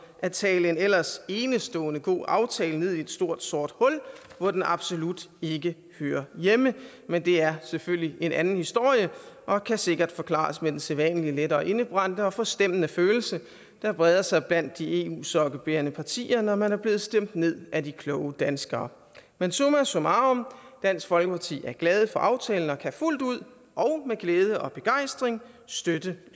at tale en ellers enestående god aftale ned i et stort sort hul hvor den absolut ikke hører hjemme men det er selvfølgelig en anden historie og kan sikkert forklares med den sædvanlige lettere indebrændte og forstemmende følelse der breder sig blandt de eu sokkebærende partier når man er blevet stemt ned af de kloge danskere men summa summarum dansk folkeparti er glade for aftalen og kan fuldt ud og med glæde og begejstring støtte